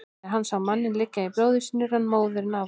Þegar hann sá manninn liggja í blóði sínu rann móðurinn af honum.